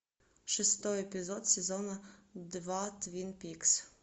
шестой эпизод сезона два твин пикс